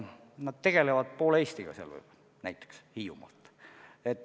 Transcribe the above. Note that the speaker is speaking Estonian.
Nad tegelevad Hiiumaalt poole Eestiga.